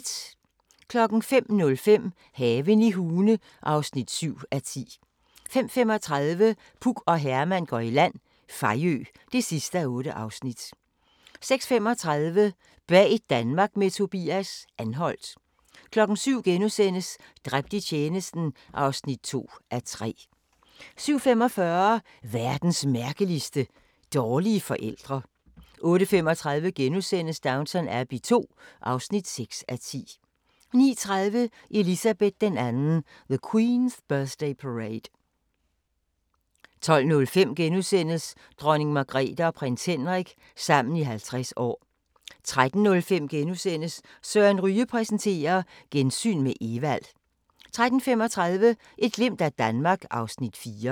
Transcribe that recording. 05:05: Haven i Hune (7:10) 05:35: Puk og Herman går i land – Fejø (8:8) 06:35: Bag Danmark med Tobias – Anholt 07:00: Dræbt i tjenesten (2:3)* 07:45: Verdens mærkeligste – dårlige forældre 08:35: Downton Abbey II (6:10)* 09:30: Elizabeth II: The queen's birthday parade 12:05: Dronning Margrethe og prins Henrik – sammen i 50 år * 13:05: Søren Ryge præsenterer: Gensyn med Evald * 13:35: Et glimt af Danmark (Afs. 4)